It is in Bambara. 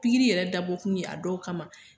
Pikiri yɛrɛ dabɔ kun ye a dɔw kama.